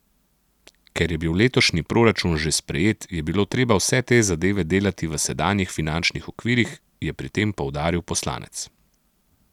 Ker je bil letošnji proračun že sprejet, je bilo treba vse te zadeve delati v sedanjih finančnih okvirih, je pri tem poudaril poslanec.